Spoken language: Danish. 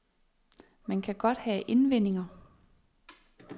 Man kan godt have indvendinger.